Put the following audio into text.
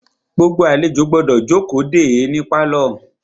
Gbogbo àlejò gbọ́dọ̀ jókòó de é ní pálọ̀.